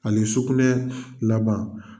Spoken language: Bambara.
Ani sukunɛ laban.